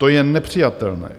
To je nepřijatelné.